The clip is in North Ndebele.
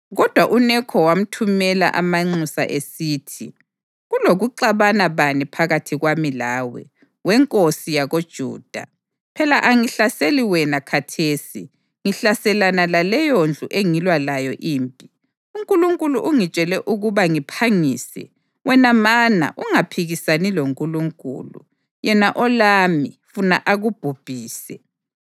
Kodwa uNekho wamthumela amanxusa esithi, “Kulokuxabana bani phakathi kwami lawe, we nkosi yakoJuda? Phela angihlaseli wena khathesi, ngihlaselana laleyondlu engilwa layo impi. UNkulunkulu ungitshele ukuba ngiphangise; wena mana ungaphikisani loNkulunkulu, yena olami, funa akubhubhise.”